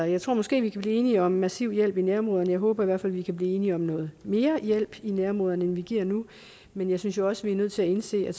jeg tror måske at vi kan blive enige om en massiv hjælp i nærområderne jeg håber i hvert fald at vi kan blive enige om noget mere hjælp i nærområderne end vi giver nu men jeg synes jo også vi er nødt til at indse at